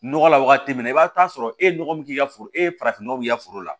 Nɔgɔ la wagati min na i b'a sɔrɔ e ye nɔgɔ min k'i ka foro ye farafin nɔgɔ b'i ka foro la